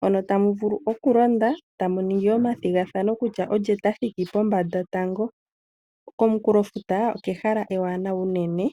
hono tamu vulu oku londa tamu ningi omathigathano kutya olye ta thiki pombanda tango, komukulo futa okehala ewanawa unene